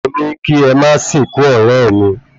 Mo ní kí ẹ máa sìnkú ọ̀rẹ́ mi